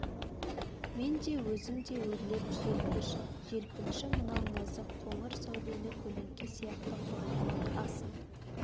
мен де өзің де өрлеп желкіш желпінші мынау нәзік қоңыр сәулелі көлеңке сияқты қорғалақ асыл